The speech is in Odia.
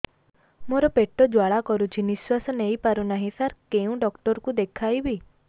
ମୋର ପେଟ ଜ୍ୱାଳା କରୁଛି ନିଶ୍ୱାସ ନେଇ ପାରୁନାହିଁ ସାର କେଉଁ ଡକ୍ଟର କୁ ଦେଖାଇବି